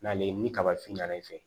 N'ale ye ni kabafiɲɛn na i fɛ